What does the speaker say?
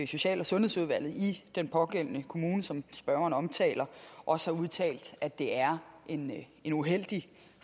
social og sundhedsudvalget i den pågældende kommune som spørgeren omtaler også har udtalt at det er en en uheldig